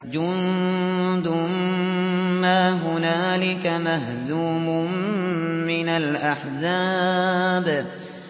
جُندٌ مَّا هُنَالِكَ مَهْزُومٌ مِّنَ الْأَحْزَابِ